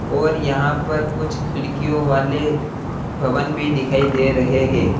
और यहां पर कुछ खिड़कियों वाले भवन भी दिखाई दे रहे हैं।